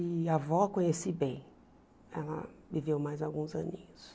E a avó conheci bem, ela viveu mais alguns aninhos.